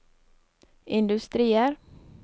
industrier